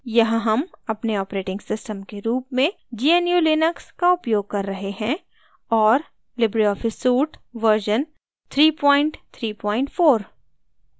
यहाँ हम अपने ऑपरेटिंग सिस्टम के रूप में gnu/लिनक्स का उपयोग कर रहे हैं और लिबरे ऑफिस सूट वर्जन 334